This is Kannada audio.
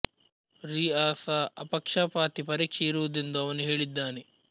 ರೀ ಅ ಸಾ ಅಪಕ್ಷಪಾತಿ ಪರೀಕ್ಷೆ ಇರುವುದೆಂದು ಅವನು ಹೇಳಿದ್ದಾನೆ